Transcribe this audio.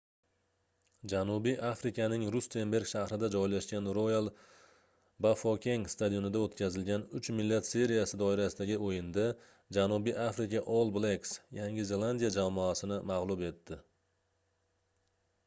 janubiy afrikaning rustenburg shahrida joylashgan royal bafokeng stadionida o'tkazilgan uch millat seriyasi doirasidagi o'yinda janubiy afrika all blacks yangi zelandiya jamoasini mag'lub etdi